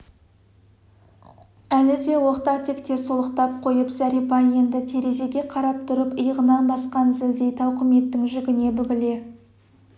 әлі де оқта-текте солықтап қойып зәрипа енді терезеге қарап тұрып иығынан басқан зілдей тауқыметтің жүгіне бүгіле